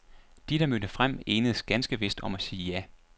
De, der mødte frem, enedes ganske vist om at sige ja.